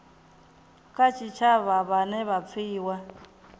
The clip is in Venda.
kha tshitshavha vhane vha pfiwa